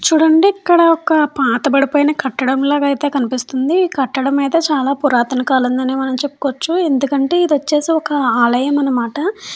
చూడండి ఇక్కడ ఒక పాత పడిపోయిన కట్టడం లాగ అయితే కనిపిస్తుంది ఈ కట్టడం అయితే చాలా పురాతన కాలంగానే మనం చెప్పుకోవచ్చు ఎందుకంటే ఇది వచ్చేసి ఒక ఆలయం అనమాట.